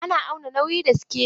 Ana auna nauyi da sikeli.